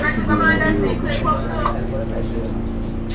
это было не в его обычае